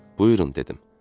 Buyurun dedim.